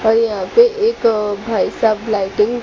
और यहां पे एक भाई साहब लाइटिंग --